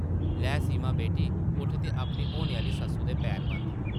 लै सीमा बेटी उट्ठ ते अपनी होने आह्ली सस्सु दे पैर बंद ।